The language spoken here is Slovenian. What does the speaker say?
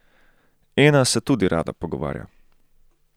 Ena se tudi rada pogovarja.